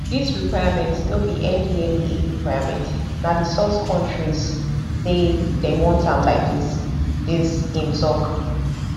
dis requirement no be ndlea requirement na di source kontris say dem want am like dis dis im tok